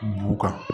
B'u kan